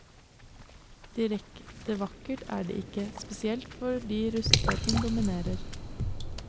Direkte vakkert er det ikke, spesielt fordi rustfargen dominerer.